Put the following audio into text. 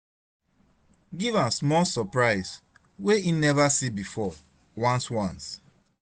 giv am smal soprise wey em neva see bifor ones ones